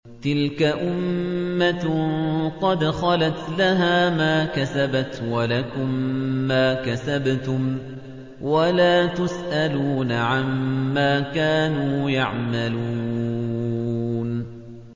تِلْكَ أُمَّةٌ قَدْ خَلَتْ ۖ لَهَا مَا كَسَبَتْ وَلَكُم مَّا كَسَبْتُمْ ۖ وَلَا تُسْأَلُونَ عَمَّا كَانُوا يَعْمَلُونَ